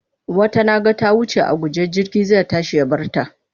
Wata na ga ta wuce a guje jirgi zai tashi ya bar ta.